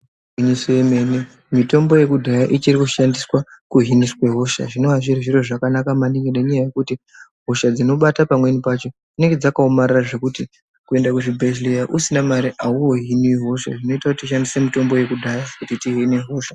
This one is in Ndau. Igwinyiso yemene mitombo yekudhaya ichiri kushandiswa kuhiniswe hosha zvinova zviri zviro zvakanaka maningi ngenyaya yekuti hosha dzinobarwa pamweni pacho dzinenge dzakaomarara zvekuti kuende kuzvibhedhlera usina mare auwohiniwo hosha zvinoita kuti tishandise mutombo yekudhaya kuti tihine hosha.